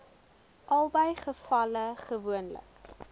albei gevalle gewoonlik